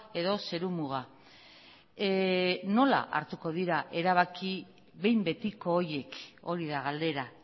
edo zeru muga nola hartuko dira erabaki behin betiko horiek hori da galdera